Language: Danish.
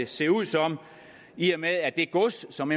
se ud som i og med at det gods som